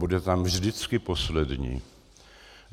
Bude tam vždycky poslední.